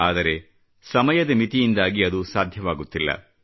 ಆದರೆ ಸಮಯದ ಮಿತಿಯಿಂದಾಗಿ ಅದು ಸಾಧ್ಯವಾಗುತ್ತಿಲ್ಲ